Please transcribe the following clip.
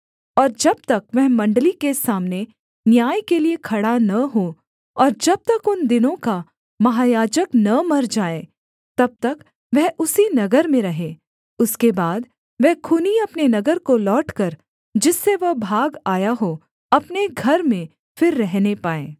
और जब तक वह मण्डली के सामने न्याय के लिये खड़ा न हो और जब तक उन दिनों का महायाजक न मर जाए तब तक वह उसी नगर में रहे उसके बाद वह खूनी अपने नगर को लौटकर जिससे वह भाग आया हो अपने घर में फिर रहने पाए